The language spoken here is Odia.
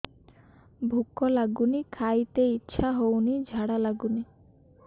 ଭୁକ ଲାଗୁନି ଖାଇତେ ଇଛା ହଉନି ଝାଡ଼ା ଲାଗୁନି